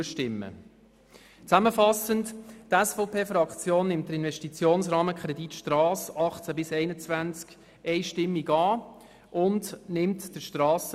Zusammenfassend: Die SVP-Fraktion nimmt den Investitionsrahmenkredit Strasse 2018–2021 einstimmig an.